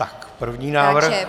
Tak první návrh.